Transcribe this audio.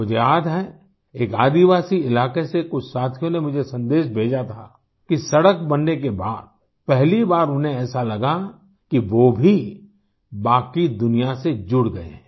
मुझे याद है एक आदिवासी इलाके से कुछ साथियों ने मुझे संदेश भेजा था कि सड़क बनने के बाद पहली बार उन्हें ऐसा लगा कि वो भी बाकी दुनिया से जुड़ गए हैं